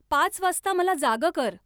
पाच वाजता मला जागं कर.